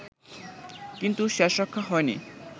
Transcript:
কিন্তু শেষরক্ষা হয়নি